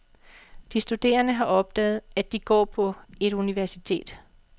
De studerende har opdaget, at de går på etuniversitet.